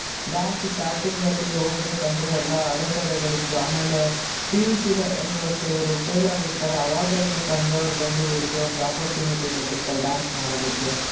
Dance starting ಅಲ್ಲಿ ಹೋಗಬೇಕಂದ್ರೆ ಎಲ್ಲಾ ಅಡೆತಡೆಗಳಿತ್ತು ಆಮೇಲೆ PUC ಅಲ್ಲೂ ಅಷ್ಟೇ ಇವ್ರು fail ಆಗಿರುತ್ತಾರೆ ಅವಾಗ ಅವರ ತಂದೆ ಅವರು ಬಂದು ಇವರಿಗೊಂದು opportunity ಕೊಟ್ಟಿರ್ತಾರೆ dance ಮಾಡೋದಕ್ಕೆ